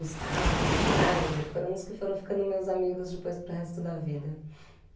Gustavo, Schneider, foram uns que foram ficando meus amigos depois para o resto da vida.